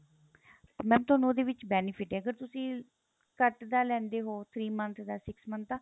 mam ਤੁਹਾਨੂੰ ਉਹਦੇ ਵਿੱਚ benefit ਏ ਅਗਰ ਤੁਸੀਂ ਘੱਟ ਦਾ ਲੈਂਦੇ ਹੋ three month ਦਾ six month ਦਾ